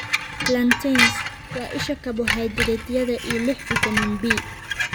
Plantains: Waa isha karbohaydraytyada iyo lix fitamiin B.